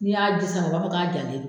N'i y'a ji sama u b'a fɔ k'a jalen do.